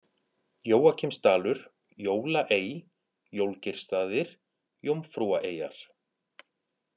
Jóakimsdalur, Jólaey, Jólgeirsstaðir, Jómfrúaeyjar